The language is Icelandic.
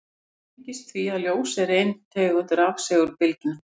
Það tengist því að ljós er ein tegund rafsegulbylgna.